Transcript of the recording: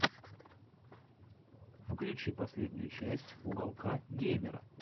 включи последнюю часть уголка геймера